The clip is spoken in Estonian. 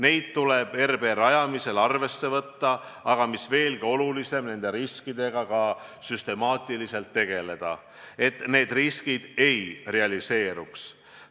Neid tuleb RB rajamisel arvesse võtta, aga mis veelgi olulisem – nende riskidega tuleb ka süstemaatiliselt tegeleda, et need ei realiseeruks.